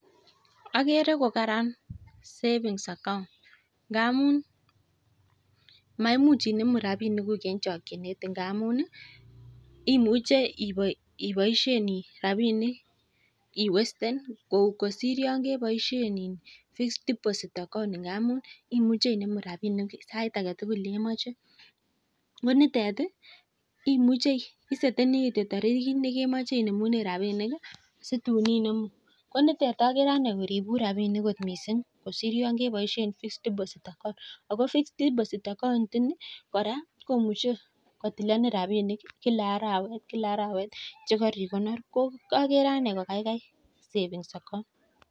Agere ko karan savings account ngamun maimuch inemu rapinikuk eng chakchinet ngamun imuche iboishen rapinik iwasten kosir yon keboishe fixed deposit account. Ngamun imuche inemu rapiniguk sait age tugul nemoche. Ne nitet iseteni kitio tarikit nekemache inemune rapinik si tun inemu. Ko nitet agere ane koripun rapinik kot mising kosir yon keboishe fixed deposit account. Ako fixed deposit ini, kora, komuchei kotilenen rapinik kila arawet kila arawet che kaikonor ko kakere ane kokaikai savings account.